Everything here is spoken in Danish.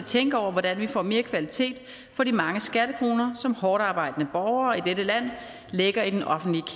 tænke over hvordan vi får mere kvalitet for de mange skattekroner som hårdtarbejdende borgere i dette land lægger i den offentlige